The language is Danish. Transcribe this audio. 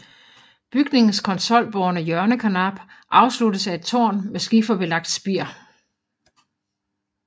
Bygningens konsolbårne hjørnekarnap afsluttes af et tårn med skiferbelagt spir